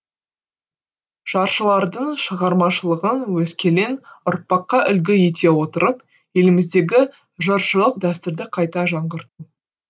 жыршылардың шығармашылығын өскелең ұрпаққа үлгі ете отырып еліміздегі жыршылық дәстүрді қайта жаңғырту